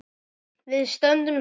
Við stöndum saman!